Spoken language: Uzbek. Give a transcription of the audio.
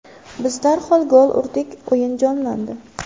Biz darhol gol urdik, o‘yin jonlandi.